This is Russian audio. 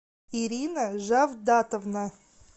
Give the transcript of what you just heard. ирина жавдатовна